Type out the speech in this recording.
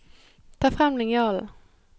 Ta frem linjalen